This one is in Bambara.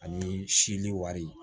Ani seli wari